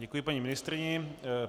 Děkuji paní ministryni.